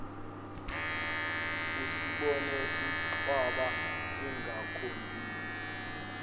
usibone sincwaba singakhombisi